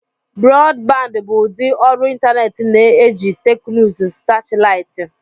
Broadband bụ ụdị ọrụ ịntanetị na-eji teknụzụ satịlaịtị.